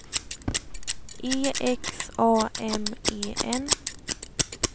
E X A M E N